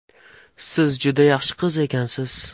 Siz juda yaxshi qiz ekansiz.